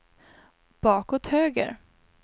bakåt höger